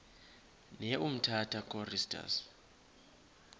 ne umtata choristers